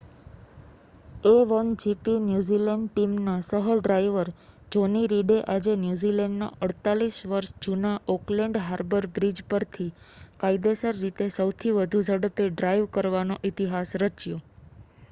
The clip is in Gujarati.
a1gp ન્યૂઝીલૅન્ડ ટીમના સહ-ડ્રાઇવર જૉની રીડે આજે ન્યૂઝીલૅન્ડના 48 વર્ષ જૂના ઑકલૅન્ડ હાર્બર બ્રિજ પરથી કાયદેસર રીતે સૌથી વધુ ઝડપે ડ્રાઇવ કરવાનો ઇતિહાસ રચ્યો